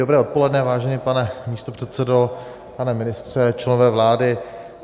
Dobré odpoledne, vážený pane místopředsedo, pane ministře, členové vlády.